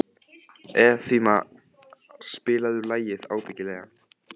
Evfemía, spilaðu lagið „Ábyggilega“.